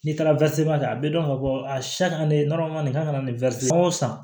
N'i taara kɛ a bɛ dɔn ka fɔ a siya ka ne ka nin k'a kana nin o san